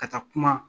Ka taa kuma